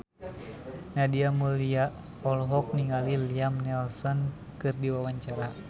Nadia Mulya olohok ningali Liam Neeson keur diwawancara